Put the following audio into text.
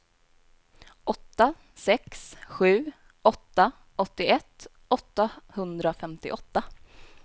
åtta sex sju åtta åttioett åttahundrafemtioåtta